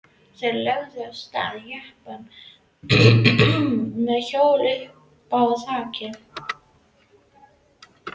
Þeir lögðu af stað í jeppanum með hjólið uppá þaki.